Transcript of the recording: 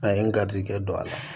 A ye n garijɛgɛ don a la